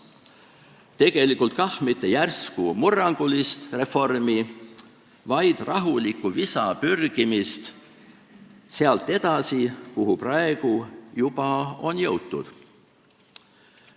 Tegelikult mitte järsku murrangulist reformi, vaid rahulikku visa pürgimist edasi sealt, kuhu juba on jõutud.